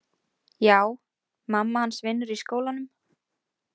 Já, mamma hans vinnur í skólanum.